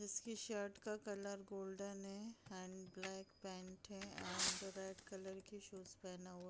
इसकी शर्ट का colour golden है एंड ब्लैक पेंट है एंड रेड कलर की शूज पहना हुआ है।